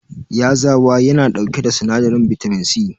Yazawa yana dauke da sinadarin bitamin C.